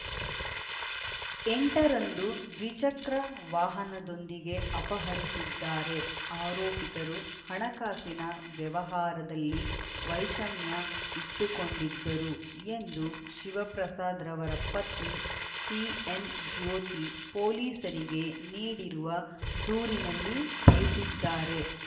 ಎಂಟರಂದು ದ್ವಿಚಕ್ರ ವಾಹನದೊಂದಿಗೆ ಅಪಹರಿಸಿದ್ದಾರೆ ಆರೋಪಿತರು ಹಣಕಾಸಿನ ವ್ಯವಹಾರದಲ್ಲಿ ವೈಷಮ್ಯ ಇಟ್ಟುಕೊಂಡಿದ್ದರು ಎಂದು ಶಿವಪ್ರಸಾದ್ ರವರ ಪತ್ನಿ ಸಿಎನ್ ಜ್ಯೋತಿ ಪೊಲೀಸರಿಗೆ ನೀಡಿರುವ ದೂರಿನಲ್ಲಿ ತಿಳಿಸಿದ್ದಾರೆ